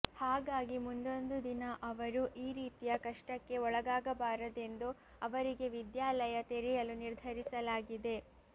ಹಾಗಾಗಿ ಮುಂದೊಂದು ದಿನ ಅವರು ಈ ರೀತಿಯ ಕಷ್ಟಕ್ಕೆ ಒಳಗಾಗಬಾರದೆಂದು ಅವರಿಗೆ ವಿದ್ಯಾಲಯ ತೆರೆಯಲು ನಿರ್ಧರಿಸಲಾಗಿದೆ